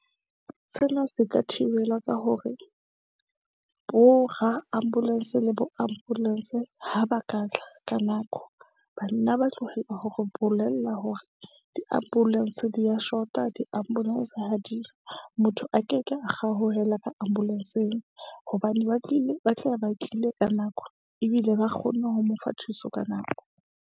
Sena se ka thibelwa ka hore bo ra-ambulance le bo-ambulance, ha ba ka tla ka nako. Ba nna ba tlohella ho re bolela hore di-ambulance di ya shota di-ambulance ha diyo. Motho a ke ke a kgaohelwa ka ambulence-ng hobane ba tlile ba tla be ba tlile ka nako ebile ba kgonne ho mo fa thuso ka nako.